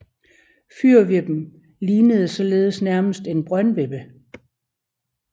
Fyrvippen lignede således nærmest en brøndvippe